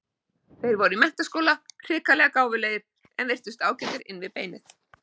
Þeir voru í menntaskóla, hrikalega gáfulegir, en virtust ágætir inn við beinið.